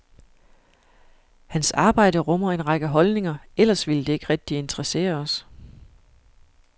Hans arbejde rummer en række holdninger, ellers ville det ikke rigtig interessere os.